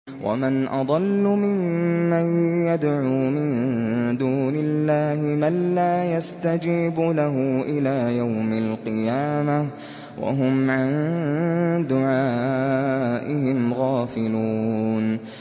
وَمَنْ أَضَلُّ مِمَّن يَدْعُو مِن دُونِ اللَّهِ مَن لَّا يَسْتَجِيبُ لَهُ إِلَىٰ يَوْمِ الْقِيَامَةِ وَهُمْ عَن دُعَائِهِمْ غَافِلُونَ